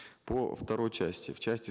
по второй части в части